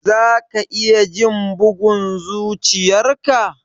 Za ka iya jin bugun zuchiyar ka?